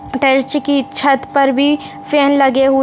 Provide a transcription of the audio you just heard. की छत पर भी फ़ैन लगे हुये --